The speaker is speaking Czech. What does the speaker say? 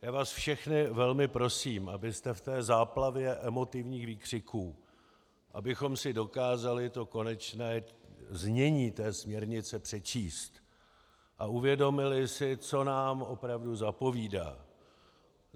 Já vás všechny velmi prosím, abyste v té záplavě emotivních výkřiků, abychom si dokázali to konečné znění té směrnice přečíst a uvědomili si, co nám opravdu zapovídá.